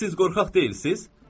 Siz qorxaq deyilsiz?